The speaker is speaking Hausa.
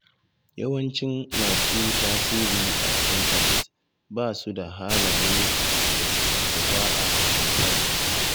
Yawancin masu tasiri a intanet ba su da halaye masu kyau da za a kwaikwaya.